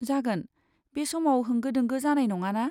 जागोन, बे समाव होंगो दोंगो जानाय नङा ना?